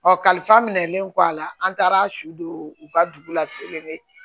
Ɔ kalifa minɛlen kɔ a la an taara su don u ka dugu la